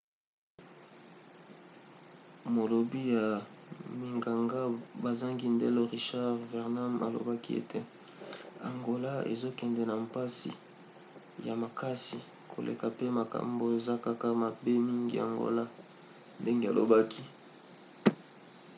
molobi ya minganga bazangi ndelo richard veerman alobaki ete: angola ezokende na mpasi ya makasi koleka pe makambo eza kaka mabe mingi angola, ndenge alobaki